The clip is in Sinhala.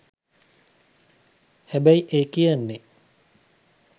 හැබැයි ඒ කියන්නෙ